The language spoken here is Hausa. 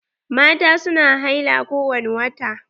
Mata su na haila ko wani wata.